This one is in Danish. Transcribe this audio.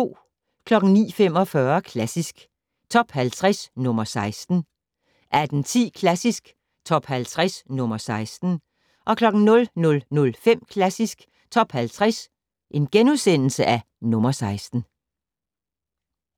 09:45: Klassisk Top 50 - nr. 16 18:10: Klassisk Top 50 - nr. 16 00:05: Klassisk Top 50 - nr. 16 *